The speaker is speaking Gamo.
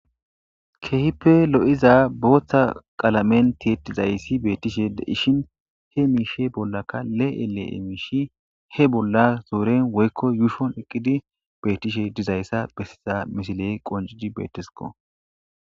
Keehippe lo'iza booththa qaalamen tittizayssi beettishe de ishin he miishe bollaka le'ele'e miishi he bolla zooren woykko yuushon eqqidi beettishe dizayssa bessiza misile qoncidi beetesiko.